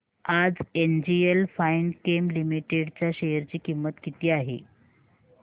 आज NGL Finechem limited च्या share ची किंमत किती आहे